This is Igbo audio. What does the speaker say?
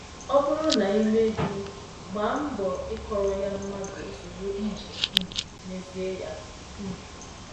Ọ bụrụ na i mehie, gbaa mbọ ikọọrọ ya mmadụ ozugbo iji um mezie ya. um